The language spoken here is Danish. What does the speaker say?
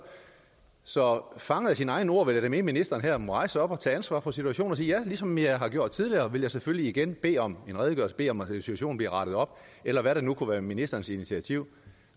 så fanget af sine egne ord ville jeg ministeren her må rejse sig op og tage ansvar for situationen og sige ja ligesom jeg har gjort tidligere vil jeg selvfølgelig igen bede om en redegørelse bede om at situationen bliver rettet op eller hvad der nu kunne være ministerens initiativ